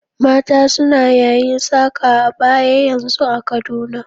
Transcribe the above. Mata suna yayin saka abaya yanzun a Kaduna.